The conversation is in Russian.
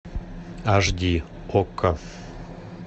аш ди окко